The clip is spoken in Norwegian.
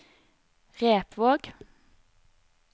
Repvåg